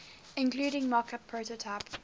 including mockup prototype